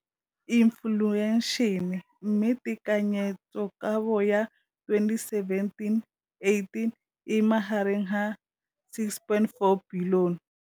Infleišene, mme tekanyetsokabo ya 2017, 18, e magareng ga R6.4 bilione.